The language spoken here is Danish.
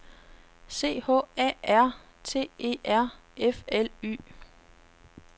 C H A R T E R F L Y